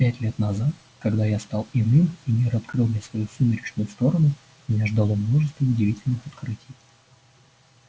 пять лет назад когда я стал иным и мир открыл мне свою сумеречную сторону меня ждало множество удивительных открытий